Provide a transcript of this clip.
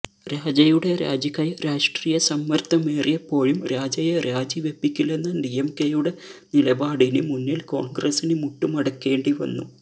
രാജയുടെ രാജിക്കായി രാഷ്ട്രീയ സമ്മര്ദ്ദമേറിയപ്പോഴും രാജയെ രാജി വെപ്പിക്കില്ലെന്ന ഡിഎംകെയുടെ നിലപാടിന് മുന്നില് കോണ്ഗ്രസിന് മുട്ടുമടക്കേണ്ടി വന്നു